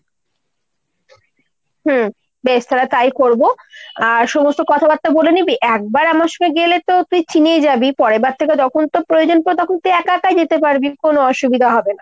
হম বেশ তালে তাই করবো। আর সমস্ত কথাবার্তা বলে নিবি। একবার আমার সঙ্গে গেলেতো তুই চিনেই যাবি, পরের বার থেকে যখন তোর প্রয়োজন পরবে তখন তুই একা একাই যেতে পারবি। কোনো অসুবিধা হবে না।